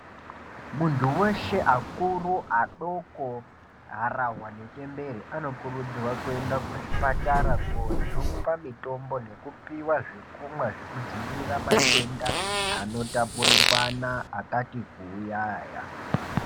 Muntu weshe akuru, adoko, harahwa nechembere anokurudzirwa kuenda kuzvipatara koojungwa mitombo, nekupiwa zvekumwa zvekudzivirira matenda anotapurirwana akati kuuya aya.